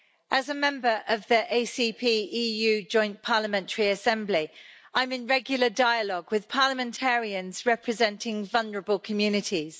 As a member of the ACP-EU Joint Parliamentary Assembly, I'm in regular dialogue with parliamentarians representing vulnerable communities.